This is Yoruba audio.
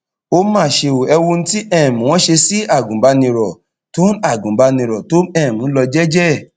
ó mà ṣe ò ẹ wo ohun tí um wọn ṣe sí agùnbánirò tó agùnbánirò tó um ń lọ jẹẹjẹ ẹ